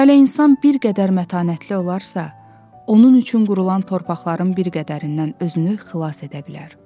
Hələ insan bir qədər mətanətli olarsa, onun üçün qurulan torpaqların bir qədərindən özünü xilas edə bilər.